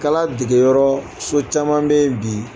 kala degeyɔrɔ so caman bɛ yen bi